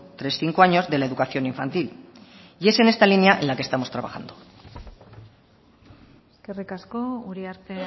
tres cinco años de la educación infantil y es en en esta línea en la que estamos trabajando eskerrik asko uriarte